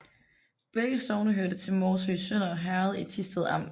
Begge sogne hørte til Morsø Sønder Herred i Thisted Amt